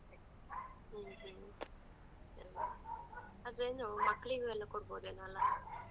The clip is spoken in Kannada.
ಹ್ಮ್ ಹ್ಮೂ, ಅಲ್ವಾ, ಅದ್ ಏನೂ ಮಕ್ಕ್ಳಿಗೂ ಎಲ್ಲ ಕೊಡ್ಬೋದೇನೋ ಅಲಾ?